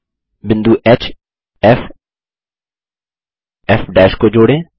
बिंदुHFF को जोड़ें